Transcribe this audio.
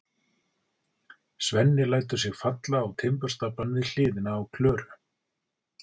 Svenni lætur sig falla á timburstaflann við hliðina á Klöru.